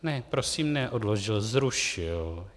Ne prosím, neodložil, zrušil.